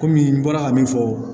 Kɔmi n bɔra ka min fɔ